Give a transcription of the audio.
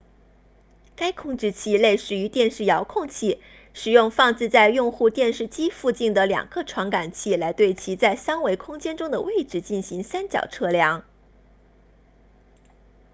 该控制器类似于电视遥控器使用放置在用户电视机附近的两个传感器来对其在三维空间中的位置进行三角测量